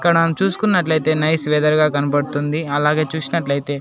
ఇక్కడ చూసుకున్నట్లయితే nice weather గా కనపడ్తుంది అలాగే చూసినట్లయితే--